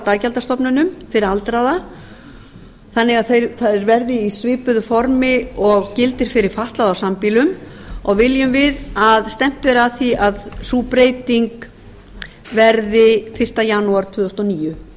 daggjaldastofnunum fyrir aldraða þannig að það verði í svipuðu formi og gildir fyrir fatlaða á sambýlum og viljum við að stefnt verði að því að sú breyting verði fyrsta janúar tvö þúsund